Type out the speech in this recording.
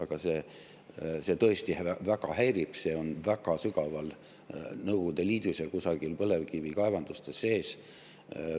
Aga see tõesti väga häirib, see on väga sügaval Nõukogude Liidus ja kusagil põlevkivikaevandustes sees.